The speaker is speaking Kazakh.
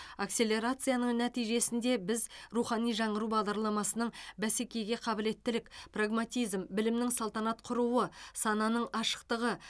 акселерацияның нәтижесінде біз рухани жаңғыру бағдарламасының бәсекеге қабілеттілік прагматизм білімнің салтанат құруы сананың ашықтығы